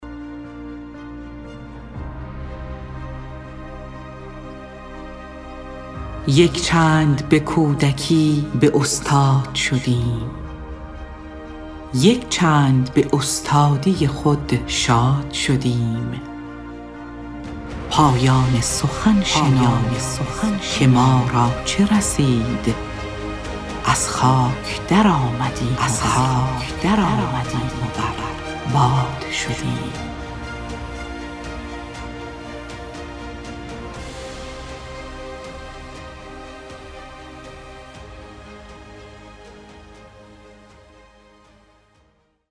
یک چند به کودکی به استاد شدیم یک چند به استادی خود شاد شدیم پایان سخن شنو که ما را چه رسید از خاک در آمدیم و بر باد شدیم